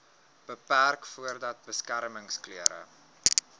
beperk voordat beskermingsklere